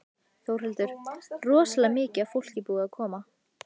Þórhildur: Rosalega mikið af fólki búið að koma?